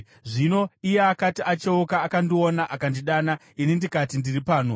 Zvino iye akati acheuka akandiona, akandidana, ini ndikati, ‘Ndiri pano?’